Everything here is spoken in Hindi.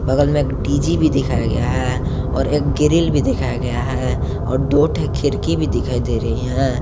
बगल में एक डी_जी भी दिखाया गया है और एक ग्रिल भी दिखाया गया है और दो खिड़की भी दिखाई दे रही है।